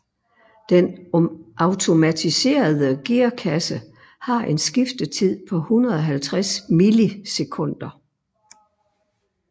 Den automatiserede gearkasse har en skiftetid på 150 millisekunder